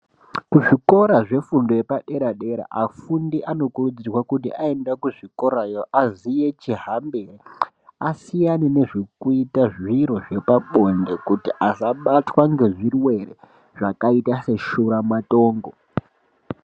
Kuzvikora zvefundo yepadera dera afundi anokurudzirwa kuti aenda kuzvikora yo aziye chihambire. Asiyane nezvekuita zviro zvepabonde kuti asabatwa ngezvirwere zvakaita seshura matongo.